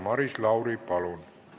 Maris Lauri, palun!